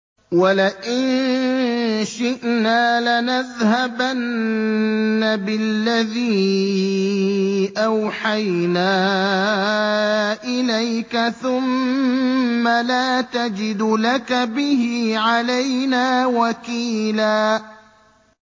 وَلَئِن شِئْنَا لَنَذْهَبَنَّ بِالَّذِي أَوْحَيْنَا إِلَيْكَ ثُمَّ لَا تَجِدُ لَكَ بِهِ عَلَيْنَا وَكِيلًا